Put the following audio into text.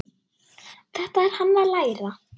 Þetta er hann að læra!